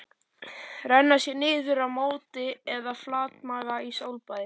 Renna sér niður í móti eða flatmaga í sólbaði?